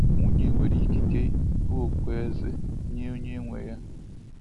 Nwunye nwere ikike bụ okpueze nye onye nwe ya